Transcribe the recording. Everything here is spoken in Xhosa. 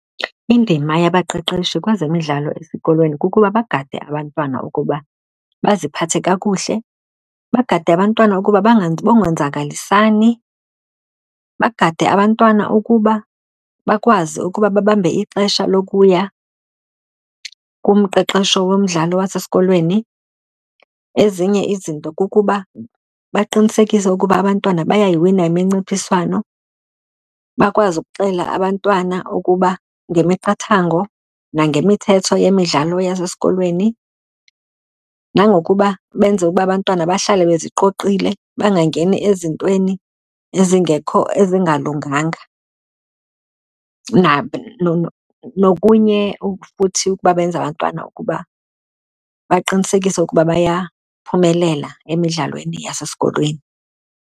Indima yabaqeqeshi kwezemidlalo esikolweni kukuba bagade abantwana ukuba baziphathe kakuhle, bagade abantwana ukuba bangonzakalisani, bagade abantwana ukuba bakwazi ukuba babambe ixesha lokuya kumqeqesho womdlalo wasesikolweni. Ezinye izinto kukuba baqinisekise ukuba abantwana bayayiwina iminciphiswano. Bakwazi ukuxelela abantwana ukuba ngemiqathango nangemithetho yemidlalo yasesikolweni, nangokuba benze ukuba abantwana bahlale beziqoqile bangangeni ezintweni ezingalunganga. Nokunye futhi ukuba benze abantwana ukuba baqinisekise ukuba bayaphumelela emidlalweni yasesikolweni.